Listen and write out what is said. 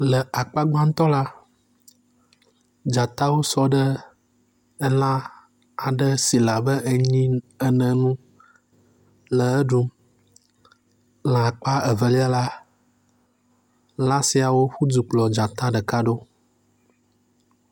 Le akpa gbãtɔ la, dzatawo sɔ ɖe elã aɖe si le abe nyi ene ŋu le eɖum. Le akpa Evelia la, lã siawo ƒo du kplɔɔ dzata ɖeka ɖo.